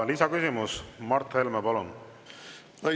Lisaküsimus, Mart Helme, palun!